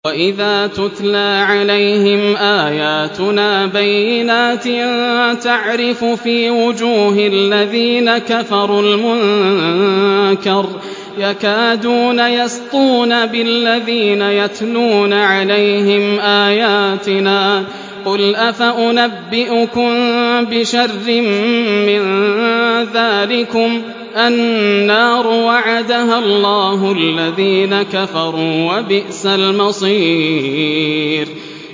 وَإِذَا تُتْلَىٰ عَلَيْهِمْ آيَاتُنَا بَيِّنَاتٍ تَعْرِفُ فِي وُجُوهِ الَّذِينَ كَفَرُوا الْمُنكَرَ ۖ يَكَادُونَ يَسْطُونَ بِالَّذِينَ يَتْلُونَ عَلَيْهِمْ آيَاتِنَا ۗ قُلْ أَفَأُنَبِّئُكُم بِشَرٍّ مِّن ذَٰلِكُمُ ۗ النَّارُ وَعَدَهَا اللَّهُ الَّذِينَ كَفَرُوا ۖ وَبِئْسَ الْمَصِيرُ